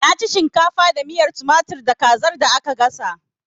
Na ci shimkafa da miyar tumatir da kazar da aka gasa